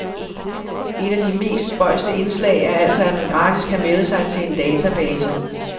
Ét af de mere spøjse indslag er altså, at man gratis kan melde sig til en database.